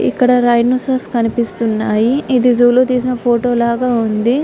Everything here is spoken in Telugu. ఇక్కడ ర్హినోసెరిఔస్ కనిపిస్తున్నాయి. ఇది జూ లో తీసిన ఫోటో లాగా ఉంది.